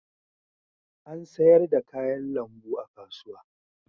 An sayar da kayan lambu a kasuwa.